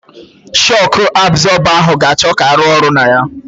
Shọku abzọba ahụ ga-achọ ka arụ ọrụ na ya.